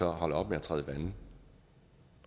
holder op med at træde vande